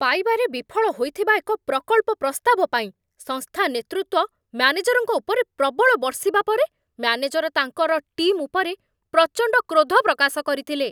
ପାଇବାରେ ବିଫଳ ହୋଇଥିବା ଏକ ପ୍ରକଳ୍ପ ପ୍ରସ୍ତାବ ପାଇଁ ସଂସ୍ଥା ନେତୃତ୍ୱ ମ୍ୟାନେଜରଙ୍କ ଉପରେ ପ୍ରବଳ ବର୍ଷିବା ପରେ ମ୍ୟାନେଜର ତାଙ୍କର ଟିମ୍ ଉପରେ ପ୍ରଚଣ୍ଡ କ୍ରୋଧ ପ୍ରକାଶ କରିଥିଲେ।